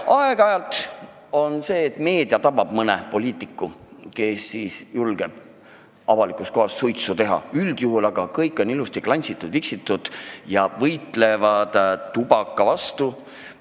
Aeg-ajalt meedia tabab mõne poliitiku, kes on julgenud avalikus kohas suitsu teha, aga üldjuhul on kõik ilusti klantsitud, viksitud ja võitlevad tubaka vastu.